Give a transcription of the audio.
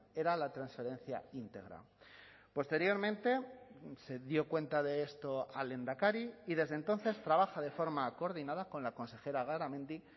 era la transferencia íntegra posteriormente se dio cuenta de esto al lehendakari y desde entonces trabaja de forma coordinada con la consejera garamendi